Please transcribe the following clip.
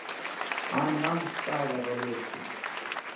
Hann nam staðar á ljósum.